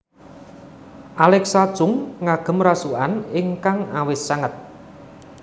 Alexa Chung ngagem rasukan ingkang awis sanget